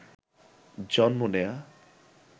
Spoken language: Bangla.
জন্ম নেয়া